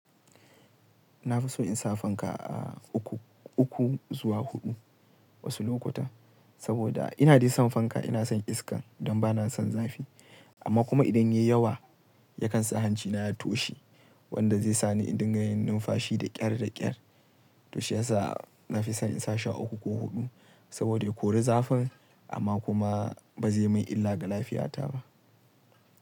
Na fi so in sa fanka, a uku, uku zuwa huɗu wasu lokuta. Saboda ina dai son fanka, ina son iska don ba na son zafi. Amma kuma idan ya yi yawa, ya kan sa hancina ya toshe, wanda zai sa ni in dinga yin numfashi da ƙyar da ƙyar. To shi yasa na fi son in sa shi uku ko huɗu, saboda ya kori zafin amma kuma ba zai min illa ga lafiyata ba.